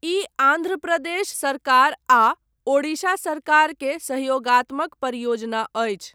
ई आन्ध्र प्रदेश सरकार आ ओडिशा सरकार के सहयोगात्मक परियोजना अछि।